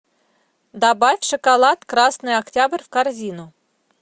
добавь шоколад красный октябрь в корзину